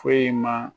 Foyi ma